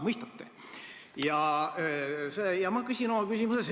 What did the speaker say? Mõistate?